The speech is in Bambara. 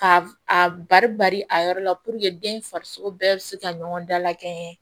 Ka a bari bari a yɔrɔ la den farisoko bɛɛ be se ka ɲɔgɔn dala kɛɲɛ